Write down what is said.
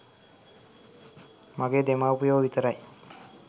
මගේ දෙමව්පියෝ විතරයි.